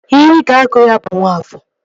Ihe ị ga-agụ ya bụ Nwafọọ!